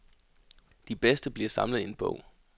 De bedste bliver samlet i en bog.